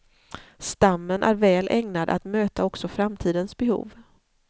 Stammen är väl ägnad att möta också framtidens behov.